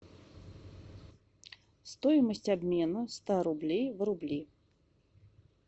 стоимость обмена ста рублей в рубли